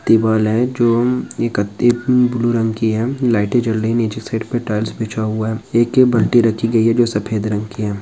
दीवाल है जो उम्म ब्लू रंग की है लाइटें जल रही हैं नीचे साइड पे टाइल्स बिछा हुआ है ए.के. बाल्टी रखी गई है जो सफेद रंग की है।